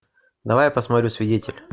давай я посмотрю свидетель